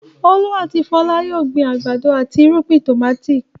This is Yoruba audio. Olú àti Fọlá yóò gbin àgbàdo àti irúgbìn tòmátì.